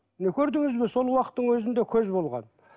міне көрдіңіз бе сол уақыттың өзінде көз болған